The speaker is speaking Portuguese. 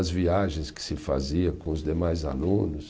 As viagens que se fazia com os demais alunos.